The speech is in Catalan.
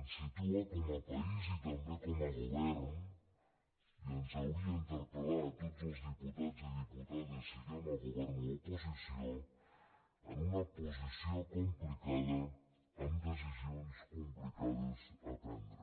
ens situa com a país i també com a govern i ens hauria d’interpelal govern o a l’oposició en una posició complicada amb decisions complicades de prendre